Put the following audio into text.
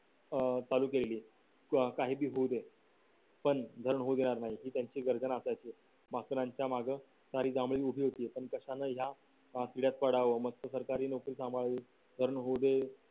अं चालू केलेली व काही बी होऊ दे . पण धरण होऊ देणार नाही त्यांची गर्दन आखायची मास्तरांच्या मागं सारी उभी होती कशाला ह्या पिढ्यात पडावं मस्त नोकरी सांभाळून धरण होऊ दे.